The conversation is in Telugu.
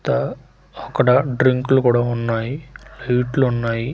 అక్కడ డ్రింకులు కూడా ఉన్నాయి హీట్లు ఉన్నాయి.